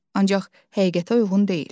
Ancaq həqiqətə uyğun deyil.